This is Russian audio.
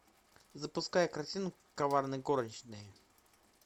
запускай картину коварные горничные